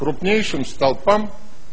крупнейшим столпам